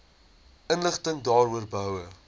inligting daaroor behoue